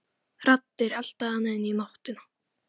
Raddir, elta hana inn í nóttina.